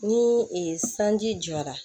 Ni sanji jɔra